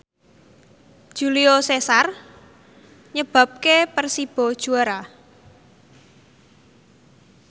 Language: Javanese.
Julio Cesar nyebabke Persibo juara